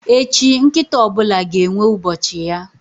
Echi, nkịta ọ bụla ga-enwe ubochi ya.